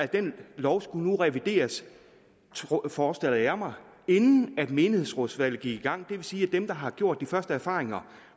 den lov skulle nu revideres forestillede jeg mig inden menighedsrådsvalget gik i gang og vil sige at dem der har gjort de først erfaringer